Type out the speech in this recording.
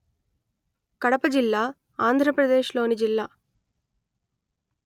కడప జిల్లా ఆంధ్రప్రదేశ్ లోని జిల్లా